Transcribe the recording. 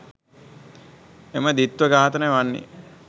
එම ද්විත්ව ඝාතන වන්නේ